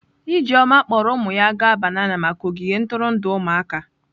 Ijeoma kpọọrọ ụmụ ya gaa banana maka ogige ntụrụndụ ụmụaka.